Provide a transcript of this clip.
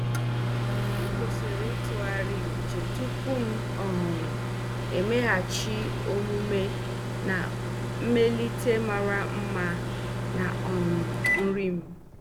M kwụsịrị ịtụgharị uche tupu m um emeghachi omume na mmelite mara mma na um nri m.